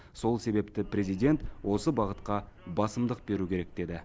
сол себепті президент осы бағытқа басымдық беру керек деді